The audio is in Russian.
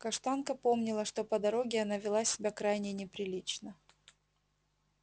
каштанка помнила что по дороге она вела себя крайне неприлично